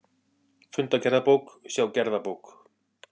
Fundagerðabók, sjá gerðabók